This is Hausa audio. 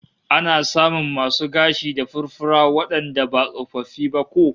Ana samun masu gashi da furfura wandanda ba tsofaffi ba ko?